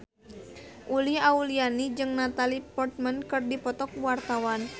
Uli Auliani jeung Natalie Portman keur dipoto ku wartawan